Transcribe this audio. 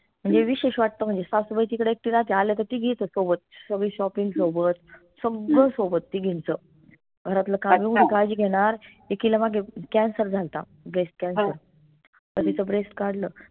म्हनजे विशेष वाटत म्हनजे सासूबाई तिकडे एकटी राहते आल्या त तिघी येतेत सोबत सगळी shopping सोबत सगळं सोबत तिघींचं घरातलं काळजी घेणार एकीला मागे cancer झाल्ता breastcancer त तीच breast काढलं